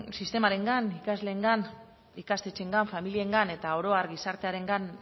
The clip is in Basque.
sistemarengan ikasleengan ikastetxeengan familiengan eta oro har gizartearengan